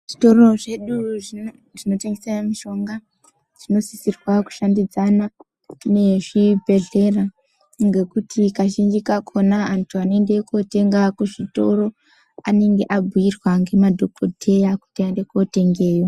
Zvitoro zvedu zvinotengese mushonga zvinosisirwa kushandidzana nechibhedhlera ngokuti kazhinji kakona andu anoende kotenga kuzvitoro anenge abhuyirwa ngemadhokodheya kuti aende kotenge.